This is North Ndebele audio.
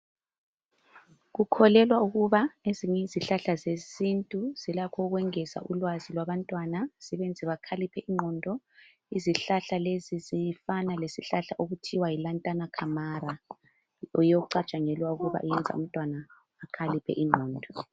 Kukholelwa ukuba ezinye izihlahla zesintu zilakho ukwengeza ulwazi labantwana zibenze bakhaliphe ingqondo izihlahla lezi zifana lesihlahla okuthiwa yi lantana camara yiyo okucantshangelwa ukuba iyenza umntwana akhaliphe ingqondo